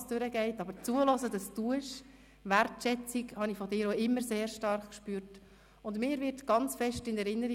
Bis dahin wünsche ich Ihnen alles Gute und freue mich darauf, viele von Ihnen am 4. Juni bei der Eröffnung der Legislatur 2018–2022 wiederzusehen.